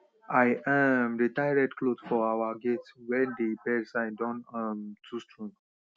i um de tie red cloth for our gate wen dey birds signs don um too strong